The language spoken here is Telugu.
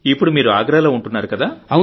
ఇప్పుడు మీరు ఆగ్రాలో ఉంటున్నారు కదా